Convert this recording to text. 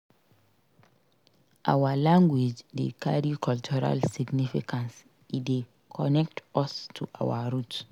Our language dey carry cultural significance; e dey connect us to our roots.